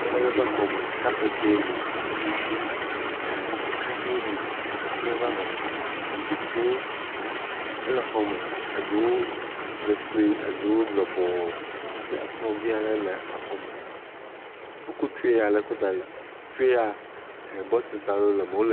Ame ɖe ƒe xɔme. Kapɛtiwo le hafi ɛɛɛɛ kaɖiwo le keklẽ vavã. Zikpiwo ele xɔme. Eɖewo le sue, eɖewo lɔbɔɔ. Hafi ekplɔ̃vi aɖe le exɔme. wokɔ tree aɖe kɔ da ɖi. trea, bɔtilsi aɖe le me, wole.